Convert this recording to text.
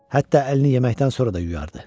Hətta əlini yeməkdən sonra da yuyardı.